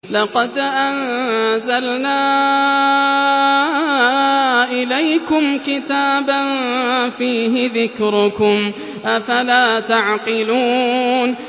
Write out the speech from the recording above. لَقَدْ أَنزَلْنَا إِلَيْكُمْ كِتَابًا فِيهِ ذِكْرُكُمْ ۖ أَفَلَا تَعْقِلُونَ